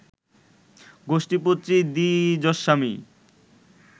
গোষ্ঠীপতি দ্বিজস্বামী